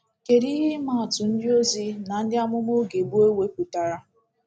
Kedu ihe ịma atụ ndịozi na ndị amụma oge gboo wepụtara?